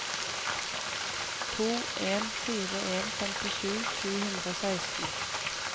to en fire en femtisju sju hundre og seksten